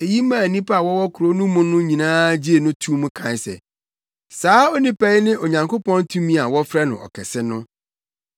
Eyi maa nnipa a wɔwɔ kurow no mu no nyinaa gyee no too mu kae se, “Saa onipa yi ne Onyankopɔn tumi a wɔfrɛ no Ɔkɛse no.”